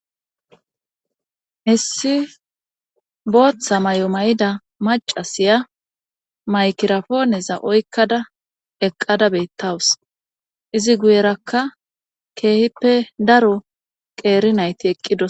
Issi booththa may7o may7ida macasiya maykirafooneza oykkada eqqada beettawus izi guyerakka keehippe daro qeeri nayti eqqidos